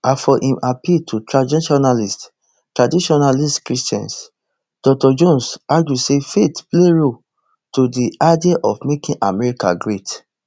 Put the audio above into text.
as for im appeal to traditionalist traditionalist christians dr jones argue say faith play role to di idea of making america great